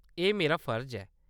एह्‌‌ मेरा फर्ज ऐ।